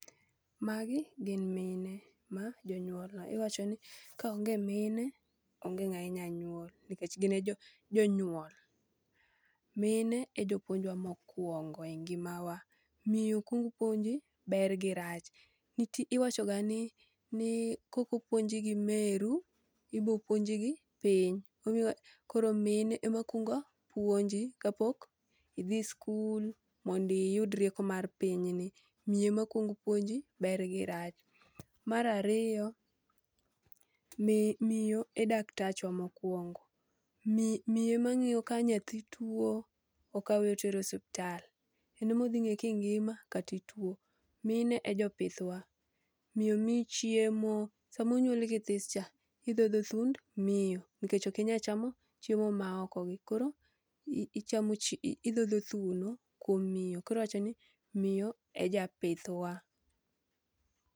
Magi gin mine ma jonyuolna, iwacho ni kaonge mine onge ng'a inya nyuol nikech gin e jo jo nyuol. Mine e jopuonjwa mokwongo e ngima na, miyo kuongo puonji ber gi rach. Nitie iwacho ga ni kokopuonji gi meru, ibo puonji gi piny. Omiwa koro mine e ma kwaongo puonji kapok idhi skul mondo iyud rieko mar piny ni. Miyo ema kuong puonji, ber gi rach. Marariyo, miyo e daktatachwa mokwongo. Miyo emang'iyo ka nyathi tuo, okawe otere osuptal. En emo dhi ng'e kingima katituo. Mine e jopith wa, miyo miyi chiemo. Samo nyuoli kithis cha, idhodho thund miyo. Nikech okinya chamo chiemo maoko gi, koro ichamo chi idhodho thuno kuom mino. Koriwacho ni miyo e japith wa.